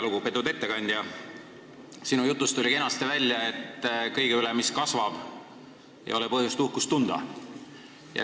Väga lugupeetud ettekandja, sinu jutust tuli kenasti välja, et kõige üle, mis kasvab, ei ole põhjust uhkust tunda.